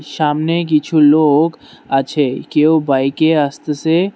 সামনে কিছু লোক আছে কেউ বাইক এ আসতেসে।